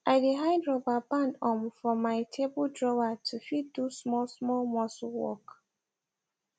i dey hide rubber band um for my table drawer to fit do small small muscle work